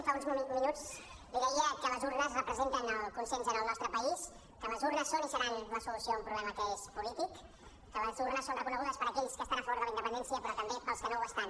fa uns minuts li deia que les urnes representen el consens al nostre país que les urnes són i seran la solució a un problema que és polític que les urnes són reconegudes per aquells que estan a favor de la independència però també pels que no ho estan